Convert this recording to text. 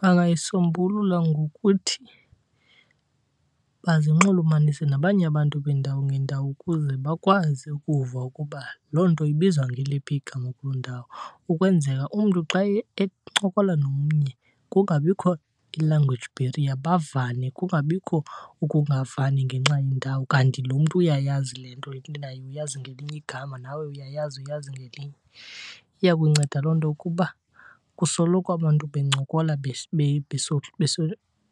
Bangayisombulula ngokuthi bazinxulumanise nabanye abantu beendawo ngeendawo ukuze bakwazi ukuva ukuba loo nto ibizwa ngeliphi igama kuloo ndawo. Ukwenzela umntu xa encokola nomnye kungabikho i-language barrier, bavane kungabikho ukungavani ngenxa yendawo. Kanti lo mntu uyayazi le nto intwenayo uyazi ngelinye igama, nawe uyayazi uyazi ngelinye. Iya kunceda loo nto ukuba kusoloko abantu bencokola